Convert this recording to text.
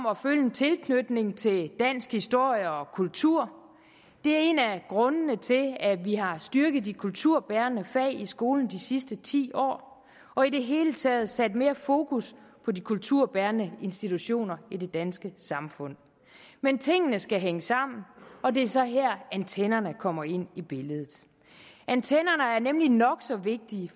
tilknytning til dansk historie og kultur det er en af grundene til at vi har styrket de kulturbærende fag i skolen de sidste ti år og i det hele taget sat mere fokus på de kulturbærende institutioner i det danske samfund men tingene skal hænge sammen og det er så her antennerne kommer ind i billedet antennerne er nemlig nok så vigtige